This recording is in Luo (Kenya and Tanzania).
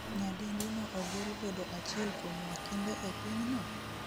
Nyadendi no ogol bedo achiel kuom wakinde e pinyno?